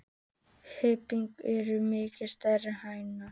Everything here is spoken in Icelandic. Hrygnur eru miklu stærri er hængar.